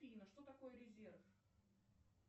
афина что такое резерв